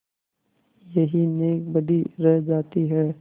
यही नेकबदी रह जाती है